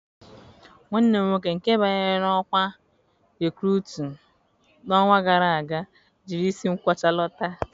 Nwanne m nwoke nke banyere n'okwa Rekurutu n'ọnwa gara aga jiri isi nkwocha lọta.